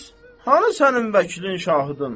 Bəs hanı sənin vəkilin, şahidin?